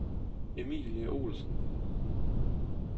Emilie Olsen